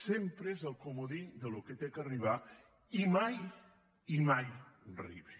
sempre és el comodí del que ha d’arribar i mai i mai arriba